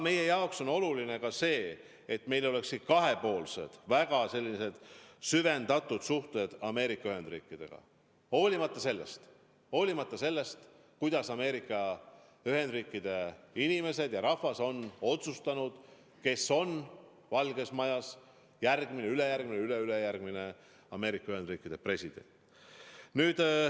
Meie jaoks on oluline ka see, et meil oleksid kahepoolsed väga süvendatud suhted Ameerika Ühendriikidega, olenemata sellest, kuidas Ameerika Ühendriikide inimesed on otsustanud, kes on Valges Majas järgmine, ülejärgmine või üleülejärgmine Ameerika Ühendriikide president.